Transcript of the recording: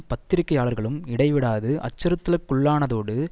பத்திரிகையாளர்களும் இடை விடாது அச்சுறுத்தலுக்குள்ளானதோடு